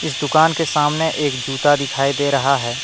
इस दुकान के सामने एक जूता दिखाई दे रहा है।